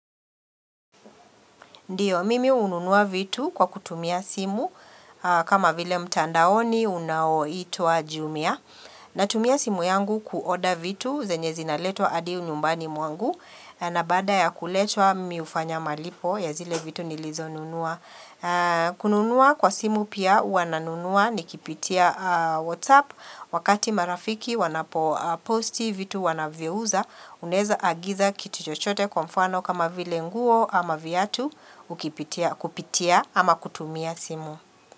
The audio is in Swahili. Ndio, mimi hununua vitu kwa kutumia simu, kama vile mtandaoni unaoitwa jumia. Natumia simu yangu kuoder vitu, zenye zinaletwa hadi nyumbani mwangu, na baada ya kuletwa mimi hufanya malipo, ya zile vitu nilizonunua. Kununua kwa simu pia, huwa nanunua, nikipitia WhatsApp, wakati marafiki, wanaposti, vitu wanavyouza, unaeza agiza kitu chochote kwa mfano kama vile nguo ama viatu ukipitia. Kupitia ama kutumia simu.